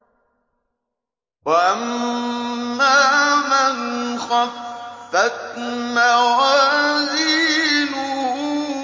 وَأَمَّا مَنْ خَفَّتْ مَوَازِينُهُ